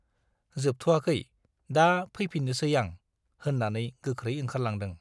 जोबथ'आखै, दा फैफिन्नोसै आं - होन्नानै गोख्रै ओंखारलांदों।